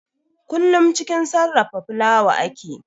Kullum cikin sarrafa fulawa ake